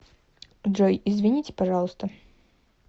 джой извините пожалуйста